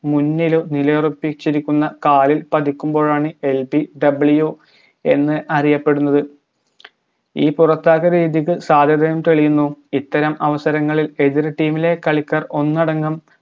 മുന്നിലും നിലയുറപ്പിച്ചിരിക്കുന്ന കാലിൽ പതിക്കുമ്പോഴാണ് LBW എന്ന് അറിയപ്പെടുന്നത് ഈ പുറത്താക്കൽ രീതിക്ക് സാധ്യതം തെളിയുന്നു ഇത്തരം അവസരങ്ങളിൽ എതിർ team ലെ കളിക്കാർ ഒന്നടങ്കം